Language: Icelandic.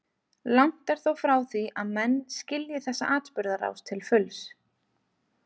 Langt er þó frá því að menn skilji þessa atburðarás til fulls.